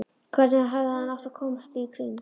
Hvernig hefði hann átt að koma því í kring?